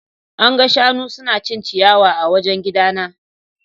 An ga shanu suna cin ciyawa a wajen gidana.